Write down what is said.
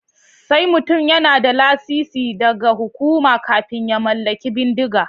Sai mutum yana da lasisi daga hukuma kafin ya mallaki bindiga.